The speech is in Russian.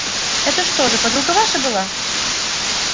это что же подруга ваша была